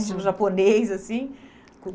Uhum. Estilo japonês, assim.